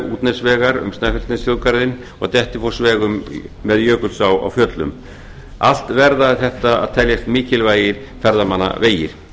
útnesvegar um snæfellsnesþjóðgarðinn og dettifossvegar með jökulsá á fjöllum allt verða þetta að teljast mikilvægir ferðamannavegir